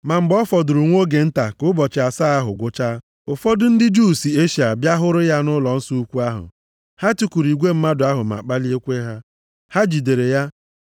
Ma mgbe ọ fọdụrụ nwa oge nta ka ụbọchị asaa ahụ gwụchaa, ụfọdụ ndị Juu si Eshịa bịa hụrụ ya nʼụlọnsọ ukwu ahụ. Ha tikuru igwe mmadụ ma kpaliekwa ha. Ha jidere ya,